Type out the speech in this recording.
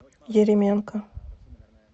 еременко